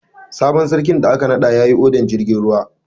Sabon sarkin da aka naɗa yayi odar jirgin ruwa.